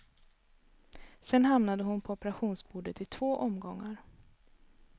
Sedan hamnade hon på operationsbordet i två omgångar.